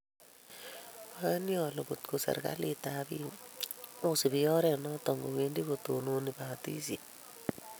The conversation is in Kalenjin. Ayani ale kotko serikalit ak piik ko subi oret notok kowendi kotononi batishet